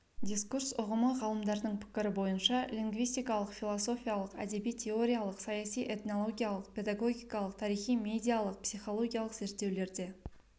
дискурс ұғымы ғалымдардың пікірі бойынша лингвистикалық философиялық әдеби-теориялық саяси этнологиялық педагогикалық тарихи медиалық психологиялық зерттеулерде